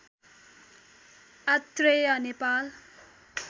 Atreya Nepal